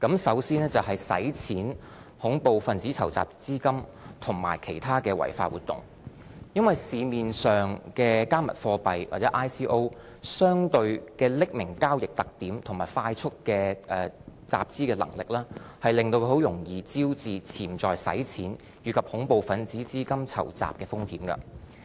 首先，是洗錢、恐怖分子籌集資金和其他的違法活動，因為市面上的"加密貨幣"或 ICO 的匿名交易特點和快速的集資能力，令它很容易招致潛在洗錢，以及恐怖分子籌集資金的風險。